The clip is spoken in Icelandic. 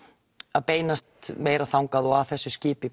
að beinast meira þangað og að þessu skipi